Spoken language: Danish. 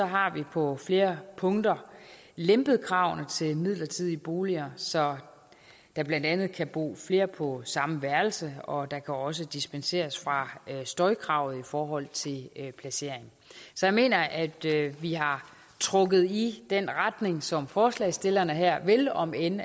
har vi på flere punkter lempet kravene til midlertidige boliger så der blandt andet kan bo flere på samme værelse og der kan også dispenseres fra støjkravet i forhold til placering så jeg mener at vi har trukket i den retning som forslagsstillerne her vil om end